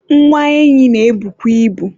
nwa enyi na-ebukwa ibu